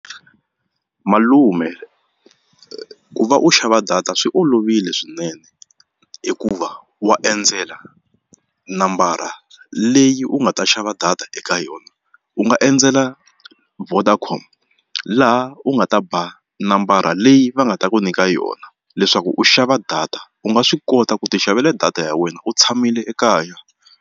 Malume ku va u xava data swi olovile swinene hikuva wa endzela nambara leyi u nga ta xava data eka yona u nga endzela Vodacom laha u nga ta ba nambara leyi va nga ta ku nyika yona leswaku u xava data u nga swi kota ku ti xavela data ya wena u tshamile ekaya.